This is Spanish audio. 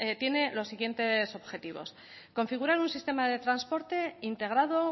tiene los siguientes objetivos configurar un sistema de transporte integrado